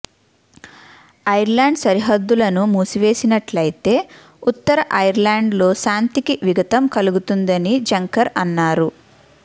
Ireland సరిహద్దులను మూసివేసినట్లయితే ఉత్తర ఐర్లాండ్లో శాంతికి విఘాతం కలుగుతుందని జంకర్ అన్నారు